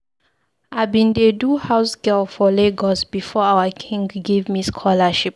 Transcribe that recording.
I bin dey do house girl for Lagos before our king give me scholarship.